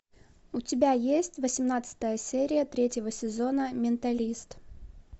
у тебя есть восемнадцатая серия третьего сезона менталист